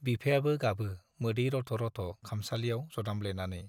बिफायाबो गाबो मोदै रथ' रथ' खामसालियाव जदामब्लेनानै।